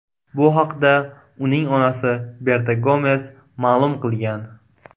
Bu haqda uning onasi Berta Gomes ma’lum qilgan.